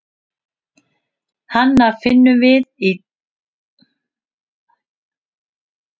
Hana finnum við í dýraríkinu, meðal annars hjá öðrum prímötum, okkar nánustu ættingjum.